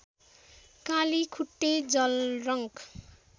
Kalikhutte जलरङ्क